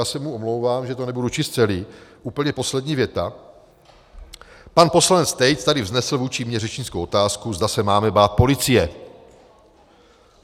Já se mu omlouvám, že to nebudu číst celé, úplně poslední věta: "Pan poslanec Tejc tady vznesl vůči mně řečnickou otázku, zda se máme bát policie.